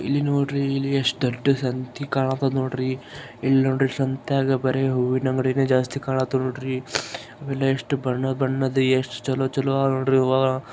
ಇಲ್ಲಿ ನೋಡ್ರಿ ಇಲ್ಲಿ ಎಷ್ಟು ದೊಡ್ ಸಂತಿ ಕಾಣತಧ್ ನೋಡ್ರಿ. ಇಲ್ಲಿ ನೋಡ್ರಿ ಸಂತ್ಯಾಗ್ ಬರಿ ಹೂವಿನ ಅಂಗಡಿನೇ ಜಾಸ್ತಿ ಕಾಣತಾವ್ ನೋಡ್ರಿ. ಆಮೇಲೆ ಎಷ್ಟು ಬಣ್ನ ಬಣ್ಣದ ಎಷ್ಟು ಚೆಲೋ ಅದ ನೋಡ್ರಿ ಹೂವ.